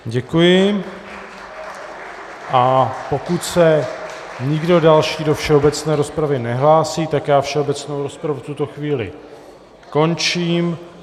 Děkuji, a pokud se nikdo další do všeobecné rozpravy nehlásí, tak já všeobecnou rozpravu v tuto chvíli končím.